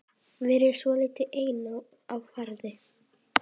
Verið svolítið einn á ferð?